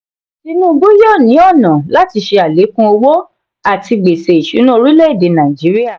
tinubu yóò ní ọnà láti ṣe alekun owó àti gbèsè ìṣúná orílè-èdè nàìjíríà.